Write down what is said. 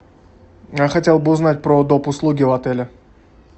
я хотел бы узнать про доп услуги в отеле